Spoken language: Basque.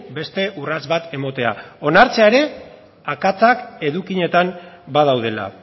beste urrats bat ematea onartzea ere akatsak edukietan badaudela